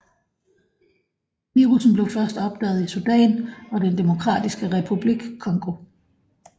Virussen blev først opdaget i Sudan og Den Demokratiske Republik Congo